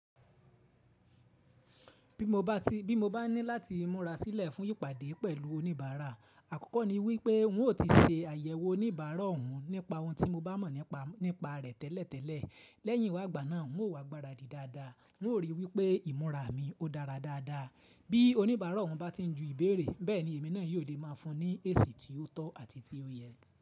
Bí mo bá ní láti múra sílẹ̀ fún ìpàdé pẹ̀lú oníbàárà, àkọ́kọ́ ni wípé n ó ti ṣe àyẹ̀wò oníbàárà ọ̀hún nípa ohun tí mo bá mọ̀ nípa rẹ̀ tẹ́lẹ̀tẹ́lẹ̀. Lẹ́yìn wá ìgbà náà, n ó wá gbáradì dáadáa, n ó ríi wípé ìmúra mi ó dára dáadáa. Bí oníbàárà ọ̀hún bá ti ń ju ìbéèrè, bẹ́ẹ̀ ni èmi náà yóò lè máa fún un ní èsì tí ó tọ́ àti tí ó yẹ.